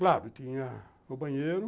Claro, tinha o banheiro.